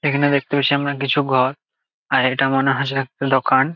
এখানে দেখতে পারছি আমরা কিছু ঘর আর এটা মনে হচ্ছে এক দোকান ।